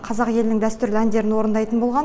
қазақ елінің дәстүрлі әндерін орындайтын болған